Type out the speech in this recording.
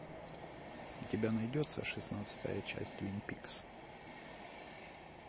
у тебя найдется шестнадцатая часть твин пикс